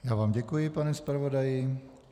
Já vám děkuji, pane zpravodaji.